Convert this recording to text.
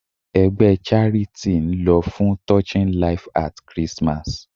Ẹgbẹ́ charity ń lọ fún Touching life at Christmas.